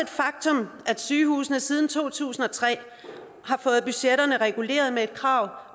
faktum at sygehusene siden to tusind og tre har fået budgetterne reguleret med et krav